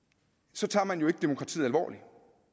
så tager man jo ikke demokratiet alvorligt